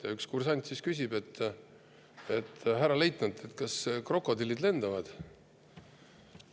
Ja üks kursant siis küsib, et, härra leitnant, kas krokodillid lendavad.